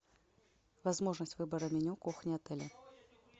возможность выбора меню кухни отеля